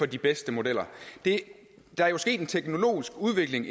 de bedste modeller der er jo sket en teknologisk udvikling